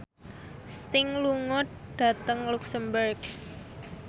Sting lunga dhateng luxemburg